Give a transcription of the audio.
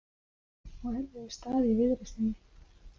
Á erfiðum stað í viðreisninni